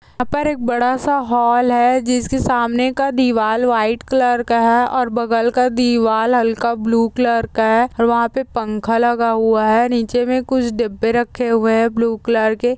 यहाँ पर एक बड़ा सा हॉल है जिसके सामने का दीवाल वाइट कलर का है और बगल का दीवाल हल्का ब्लू कलर का है और वहाँ पे पंखा लगा हुआ है नीचे कुछ डिब्बे रखे हुए हैं ब्लू कलर के।